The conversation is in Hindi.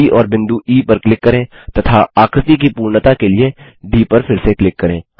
डी और बिंदु ई पर क्लिक करें तथा आकृति की पूर्णता के लिए डी पर फिर से क्लिक करें